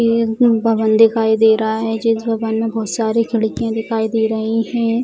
ये एक भवन दिखाई दे रहा है जिस भवन में बहोत सारी खिड़कियाँ दिखाई दे रही है।